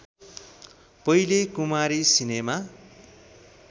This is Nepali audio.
पहिले कुमारी सिनेमा